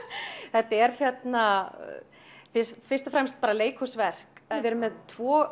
þetta er hérna fyrst og fremst bara leikhúsverk við erum með tvo